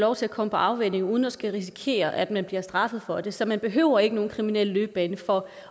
lov til at komme på afvænning uden at man skal risikere at man bliver straffet for det så man behøver ikke nogen kriminel løbebane for